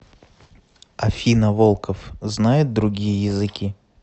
афина волков знает другие языки